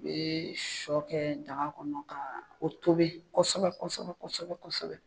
I bɛ shɔ kɛ daga kɔnɔ ka o tobi kosɛbɛ kosɛbɛ kosɛbɛ kosɛbɛ